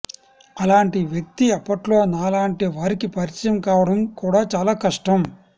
అలాంటి వ్యక్తి అప్పట్లో నాలాంటి వారికి పరిచయం కావడం కూడా చాలా కష్టం